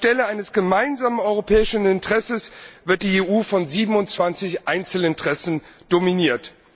Anstelle eines gemeinsamen europäischen Interesses wird die EU von 27 Einzelinteressen dominiert.